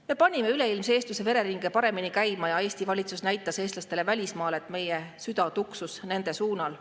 Me panime üleilmse eestluse vereringe paremini käima ja Eesti valitsus näitas eestlastele välismaal, et meie süda tuksus nende suunal.